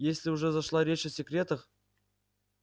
если уже зашла речь о секретах